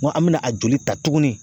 N ko an mɛna a joli ta tuguni.